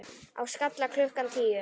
Á Skalla klukkan tíu!